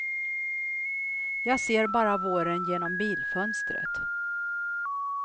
Jag ser bara våren genom bilfönstret.